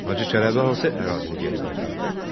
Hacı Çələbi hansı ərazini geri qaytardı?